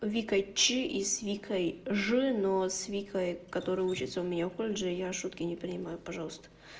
вика ч и с викой ж но с викой которая учится у меня в колледже я шутки не понимаю пожалуйста